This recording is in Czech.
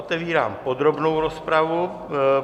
Otevírám podrobnou rozpravu.